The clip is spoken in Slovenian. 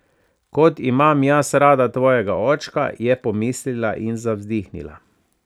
Kot imam jaz rada tvojega očka, je pomislila in zavzdihnila.